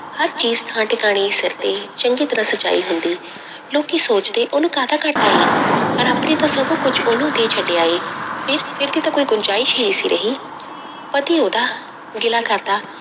ਹਰ ਚੀਜ਼ ਥਾਂ ਟਿਕਾਣੇ ਸਿਰ ਤੇ ਚੰਗੀ ਤਰ੍ਹਾਂ ਸਜਾਈ ਹੁੰਦੀ ਲੋਕੀ ਸੋਚਦੇ ਉਹਨੂੰ ਕਾਹਦਾ ਘਾਟਾ ਹੈ, ਰੱਬ ਨੇ ਤਾਂ ਸਭ ਕੁੱਝ ਉਹਨੂੰ ਦੇ ਛੱਡਿਆ ਹੈ, ਫਿਰ ਫਿਰ ਦੀ ਤਾਂ ਕੋਈ ਗੁੰਜਾਇਸ਼ ਹੀ ਨੀ ਸੀ ਰਹੀ ਪਤੀ ਉਹਦਾ ਗਿਲਾ ਕਰਦਾ,